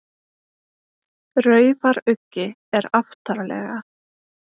Raufaruggi er aftarlega.